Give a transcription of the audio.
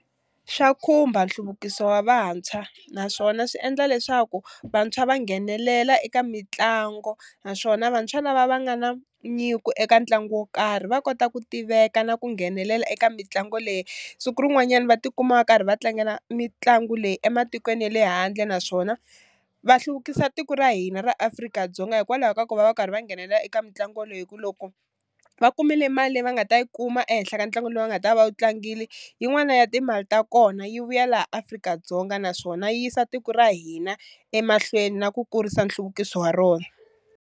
Swa khumba nhluvukiso wa vantshwa naswona swi endla leswaku vantshwa va nghenelela eka mitlangu, naswona vantshwa lava va nga na nyiko eka ntlangu wo karhi va kota ku tiveka na ku nghenelela eka mitlangu leyi siku rin'wanyani va tikuma va karhi va tlangela mitlangu leyi ematikweni ya le handle naswona va hluvukisa tiko ra hina ra Afrika-Dzonga hikwalaho ka ku va va karhi va nghenelela eka mitlangu leyi hi ku loko va kumile mali leyi va nga ta yi kuma ehenhla ka ntlangu lowu va nga ta va wu tlangili yin'wana ya timali ta kona yi vuya laha Afrika-Dzonga naswona yi yisa tiko ra hina emahlweni na ku kurisa nhluvukiso wa rona.